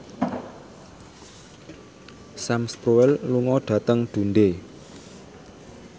Sam Spruell lunga dhateng Dundee